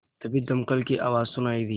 तभी दमकल की आवाज़ सुनाई दी